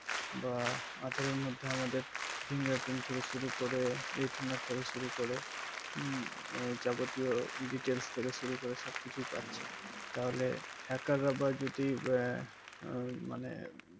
বা আঠারো মধ্যে আমাদের finger print থেকে শুরু করে retina থেকে শুরু করে যাবতীয় details থেকে শুরু করে সব কিছু পাচ্ছে তাহলে hacker রা বা যদি